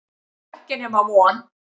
Og ekki nema von.